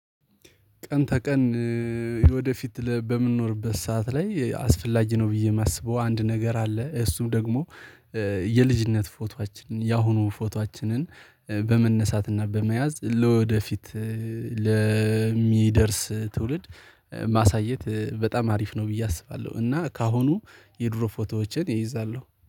ቀን ተቀን ወደፊት በምንኖርበት ሰዓት ላይ አስፈላጊ ነው ብዬ የማስበው አንድ ነገር አለ እሱም ደግሞ የልጅነት ፎቶአችንን የአሁኑ ፎቶአችንን በመነሳትና በመያዝ ለወደፊት ለሚደርስ ትውልድ ማሳየት በጣም አሪፍ ነው። ብዬ አስባለሁ እና ከአሁኑ የድሮ ፎቶዎችን ይይዛለሁ።